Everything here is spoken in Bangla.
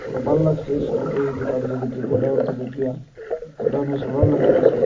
ভাল লাগছে শল এই দোকানটা দেখি গোডাউনটা দেখিয়া গোডাউনে শাটাল লাগালাসে।